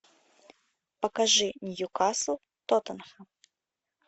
покажи ньюкасл тоттенхэм